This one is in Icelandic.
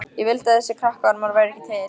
Ég vildi að þessir krakkaormar væru ekki til.